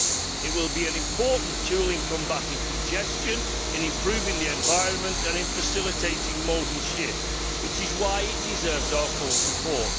It will be an important tool in combating congestion, in improving the environment and in facilitating modal shift, which is why it deserves our full support.